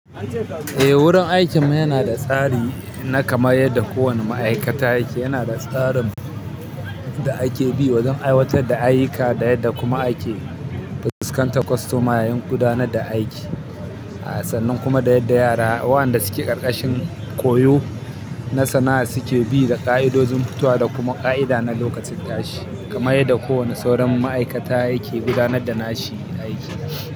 Eh wurin aikin mu yana da tsari na kamar yadda kowane ma'aikata yake. Yana da tsarin yadda ake bi wajen aiwatar da ayyuka, da yadda kuma ake fuskantar kostoma, yayin gudanar da aiki, a sannan kuma da yadda yara waɗanda suke ƙarƙashin koyo na sana'a suke bi da ƙa'idojin fitowa da kuma ƙa'ida na lokacin tashi. Kamar yadda kowane sauran ma'aikata yake gudanar da nashi aiki.